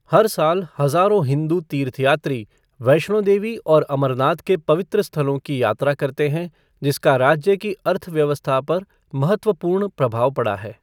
हर साल हजारों हिंदू तीर्थयात्री वैष्णो देवी और अमरनाथ के पवित्र स्थलों की यात्रा करते हैं जिसका राज्य की अर्थव्यवस्था पर महत्वपूर्ण प्रभाव पड़ा है।